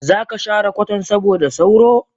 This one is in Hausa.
Zaka share kwatan saboda sauro?